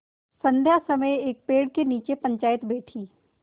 संध्या समय एक पेड़ के नीचे पंचायत बैठी